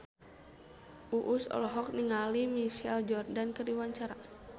Uus olohok ningali Michael Jordan keur diwawancara